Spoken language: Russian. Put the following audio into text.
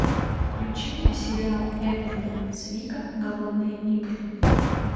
включи мне сериал эдварда цвика голодные игры